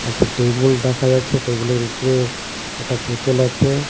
একটা টেবুল দেখা যাচ্ছে টেবুলের উপরে একটা বোতল আছে.